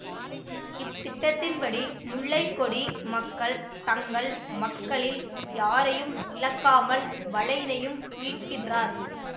இத்திட்டத்தின் படி முல்லை கொடி மக்கள் தங்கள் மக்களில் யாரையும் இழக்காமல் வளைனையும் மீட்கின்றனர்